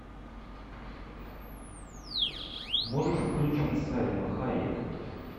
можешь включить сальма хайек